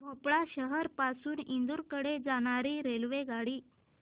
भोपाळ शहर पासून इंदूर कडे जाणारी रेल्वेगाडी